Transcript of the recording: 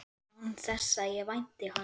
Án þess að ég vænti hans.